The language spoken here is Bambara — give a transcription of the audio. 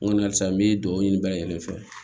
N ko a sisan n bɛ duwawu ɲini bɛɛ lajɛlen fɛ